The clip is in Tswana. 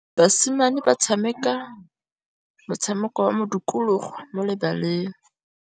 Basimane ba tshameka motshameko wa modikologô mo lebaleng.